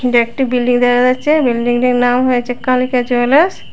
এটা একটি বিল্ডিং দেখা যাচ্ছে বিল্ডিংটির নাম হয়েছে কালিকা জুয়েলার্স ।